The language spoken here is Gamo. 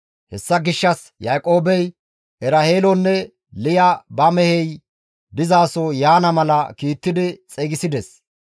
Hessa gishshas Yaaqoobey Eraheelonne Liya ba mehey dizaso yaana mala kiittidi xeygisides.